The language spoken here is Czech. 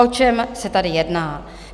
O čem se tady jedná?